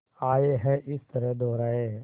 आए हैं इस तरह दोराहे